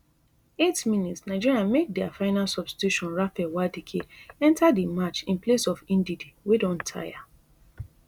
eighty mins nigeria make dia final substitution raphael nwadike enta di match in place of ndidi wey don taya